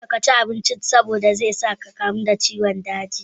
Kada ka ci abincin da zai sa ka kamu da ciwon daji.